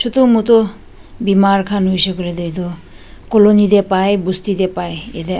chutu mutu bimar khan hoishey koilae tu edu colony tae pai busti tae pai.